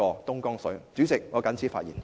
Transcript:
代理主席，我謹此陳辭。